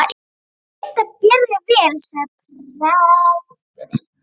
Reyndu að bera þig vel, sagði presturinn.